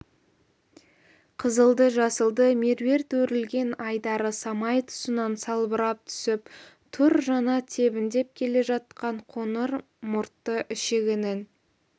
қызылды-жасылды меруерт өрілген айдары самай тұсынан салбырап түсіп тұр жаңа тебіндеп келе жатқан қоңыр мұртты ішігінің